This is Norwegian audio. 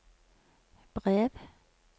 brev